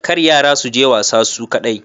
Kar yara suje wasa su kadai